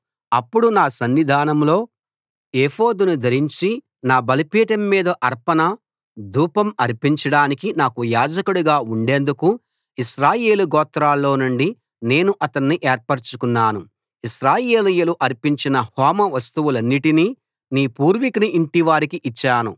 అతడు నా సన్నిధానంలో ఏఫోదును ధరించి నా బలిపీఠం మీద అర్పణ ధూపం అర్పించడానికి నాకు యాజకుడుగా ఉండేందుకు ఇశ్రాయేలు గోత్రాల్లో నుండి నేను అతణ్ణి ఏర్పరచుకొన్నాను ఇశ్రాయేలీయులు అర్పించిన హోమ వస్తువులన్నిటినీ నీ పూర్వికుని ఇంటివారికి ఇచ్చాను